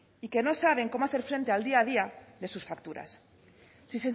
y que no saben cómo hacer frente al día a día de sus facturas